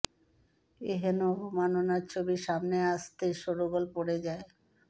এ হেন অবমাননার ছবি সামনে আসতেই শোরগোল পড়ে যায়